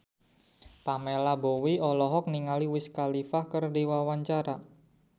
Pamela Bowie olohok ningali Wiz Khalifa keur diwawancara